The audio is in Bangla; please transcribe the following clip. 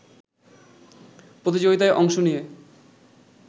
প্রতিযোগিতায় অংশ নিয়ে